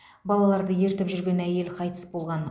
балаларды ертіп жүрген әйел қайтыс болған